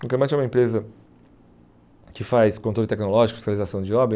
Concremat é uma empresa que faz controle tecnológico, fiscalização de obra.